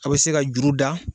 A bɛ se ka juru da.